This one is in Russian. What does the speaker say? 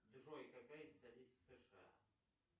джой какая столица сша